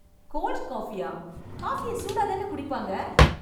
Gold காப்பியா...! காப்பிய சூடாதானே குடிப்பாங்க...